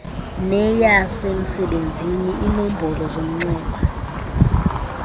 neyasemsebenzini iinombolo zomnxeba